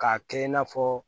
K'a kɛ i n'a fɔ